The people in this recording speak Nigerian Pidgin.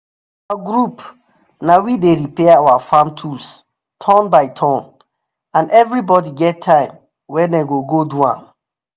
for our group na we dey repair our farm tools turn by turn and everybody get time wey dem go go do am.